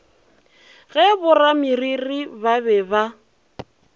ge borameriri ba be ba